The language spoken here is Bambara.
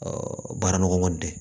baara nɔgɔman tɛ